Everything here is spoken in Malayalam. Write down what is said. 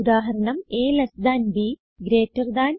ഉദാഹരണം160 a ൽട്ട് b ഗ്രീറ്റർ താൻ